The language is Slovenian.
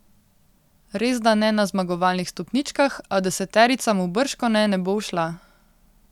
Resda ne na zmagovalnih stopničkah, a deseterica mu bržkone ne bo ušla.